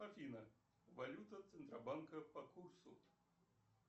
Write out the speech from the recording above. афина валюта центробанка по курсу